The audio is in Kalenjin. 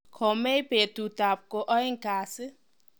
Comey betutab ko aeng kasi.